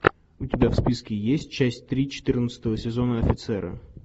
у тебя в списке есть часть три четырнадцатого сезона офицеры